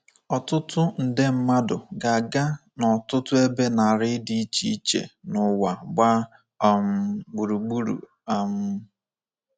ỌTỤTỤ NDE MMADỤ GA-AGA n’ọtụtụ ebe narị dị iche iche n'ụwa gbaa um gburugburu. um